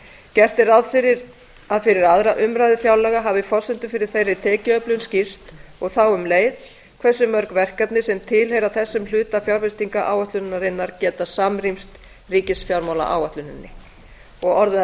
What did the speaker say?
gert er ráð fyrir að fyrir aðra umræðu fjárlaga hafi forsendur fyrir þeirri tekjuöflun skýrst og þá um leið hversu mörg verkefni sem tilheyra þessum hluta fjárfestingaráætlunarinnar geta samrýmst ríkisfjármálaáætluninni og orðið að